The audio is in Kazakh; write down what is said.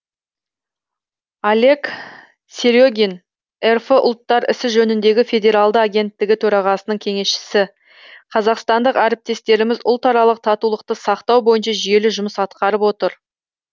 олег сере гин рф ұлттар ісі жөніндегі федералды агенттігі төрағасының кеңесшісі қазақстандық әріптестеріміз ұлтаралық татулықты сақтау бойынша жүйелі жұмыс атқарып отыр